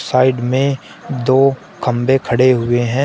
Side में दो खंबे खड़े हुए हैं।